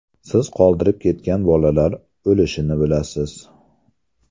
Siz qoldirib ketgan bolalar o‘lishini bilasiz.